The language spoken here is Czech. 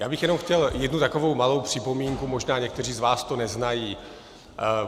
Já bych jenom chtěl jednu takovou malou připomínku, možná někteří z vás to neznají.